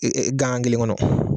gaŋan kelen kɔnɔ